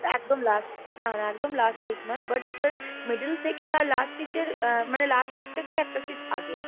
একদম last না না একদম last seat নয় but sir middle থেকে, আর last seat এ আহ মানে last seat থেকে একটা seat আগে।